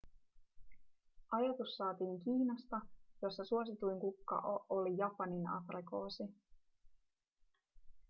ajatus saatiin kiinasta jossa suosituin kukka oli japaninaprikoosi